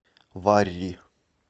варри